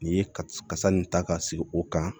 Nin ye kasa nin ta ka sigi o kan